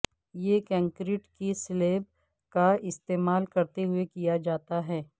یہ کنکریٹ کی سلیب کا استعمال کرتے ہوئے کیا جاتا ہے